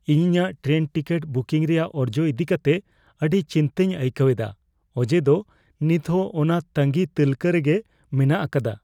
ᱤᱧ ᱤᱧᱟᱜ train ticket booking ᱨᱮᱭᱟᱜ ᱚᱨᱡᱚ ᱤᱫᱤ ᱠᱟᱛᱮ ᱟᱹᱰᱤ ᱪᱤᱱᱛᱟᱹᱧ ᱟᱹᱭᱠᱟᱹᱣ ᱮᱫᱟ ᱚᱡᱮ ᱫᱚ ᱱᱤᱛ ᱦᱚᱸ ᱚᱱᱟ ᱛᱟᱸᱜᱤ ᱛᱟᱹᱞᱠᱟᱹ ᱨᱮᱜᱮ ᱢᱮᱱᱟᱜ ᱟᱠᱟᱫᱟ ᱾